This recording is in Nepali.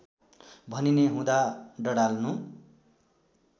भनिने हुँदा डडाल्नु